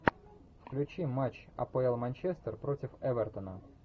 включи матч апл манчестер против эвертона